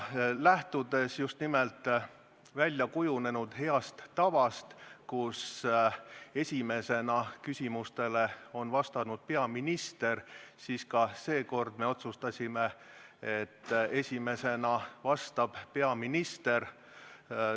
Lähtudes väljakujunenud heast tavast, et esimesena vastab küsimustele peaminister, otsustasime, et ka seekord vastab esimesena peaminister.